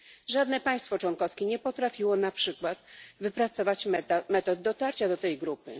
Żadne państwo członkowskie nie potrafiło na przykład wypracować metod dotarcia do tej grupy.